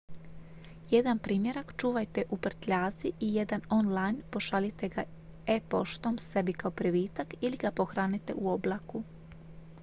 "jedan primjerak čuvajte u prtljazi i jedan on-line pošaljite ga e-poštom sebi kao privitak ili ga pohranite u "oblaku"".